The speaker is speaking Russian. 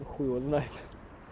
хуй его знает